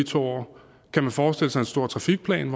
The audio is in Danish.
to år kan man forestille sig en stor trafikplan